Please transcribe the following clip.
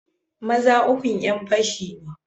Maza ukun yanfashi ne.